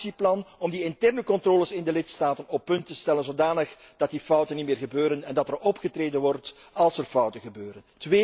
Kom met een actieplan om de interne controles in de lidstaten op punt te stellen zodat die fouten niet meer gebeuren en er opgetreden wordt als er fouten gebeuren.